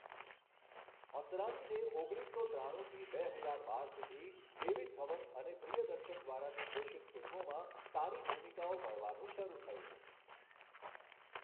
અસરાનીને ઓગણીસો ત્રાણુંથી બે હજાર બાર સુધી ડેવિડ ધવન અને પ્રિયદર્શન દ્વારા નિર્દેશિત ફિલ્મોમાં સારી ભૂમિકાઓ મળવાનું શરૂ થયું.